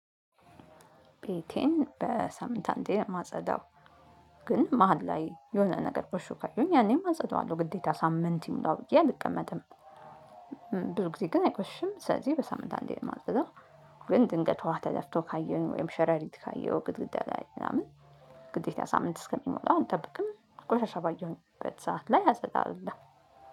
ቤቴን በሳምንት አንዴ ነው ማጸዳው። ግን መሃል ላይ የሆነ ነገር ቆሽሾ ካየሁኝ ያኔም አጸደዋለሁ ግዴታ ሳምንት ይሙላው ብዬ አልቀመጥም። ብዙ ጊዜ ግን አይቆሽም። ስለዚህ በሳምንት አንዴ ነው የማጸዳው። ግን ድንገት ውሃ ተደፍቶ ካየሁኝ ወይም ሸረሪት ካየሁኝ ግድግዳ ላይ ምናምን ግዴታ ሳምንት እስከሚሞላው አልብቅም ቆሻሻ ባየሁበት ሰዓት ላይ አፀዳዋለሁ።